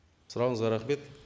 сұрағыңызға рахмет